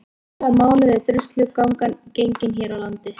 Í hvaða mánuði er Druslugangan gengin hér á landi?